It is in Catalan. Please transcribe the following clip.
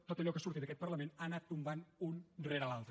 tot allò que surti d’aquest parlament ha anat tombant un rere l’altre